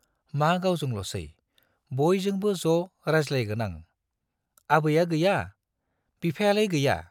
मा गावजोंल'सै , बयजोंबो ज' रायज्लायगोन आं। आबैया गैया ? बिफायालाय गैया ?